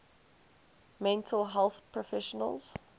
mental health professionals